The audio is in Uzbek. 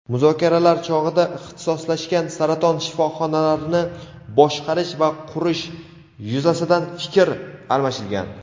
muzokaralar chog‘ida ixtisoslashgan saraton shifoxonalarini boshqarish va qurish yuzasidan fikr almashilgan.